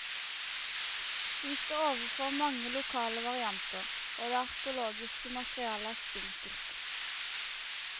Vi står overfor mange lokale varianter, og det arkeologiske materialet er spinkelt.